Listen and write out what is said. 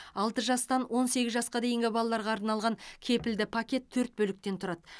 алты жастан он сегіз жасқа дейінгі балаларға арналған кепілді пакет төрт бөліктен тұрады